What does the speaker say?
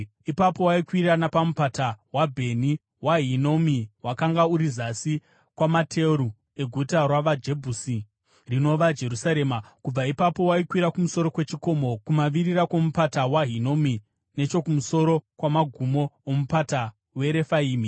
Ipapo waikwira napamupata waBheni waHinomi wakanga uri zasi kwamateru eguta ravaJebhusi (rinova Jerusarema). Kubva ipapo waikwira kumusoro kwechikomo kumavirira kwomupata waHinomi nechokumusoro kwamagumo oMupata weRefaimi.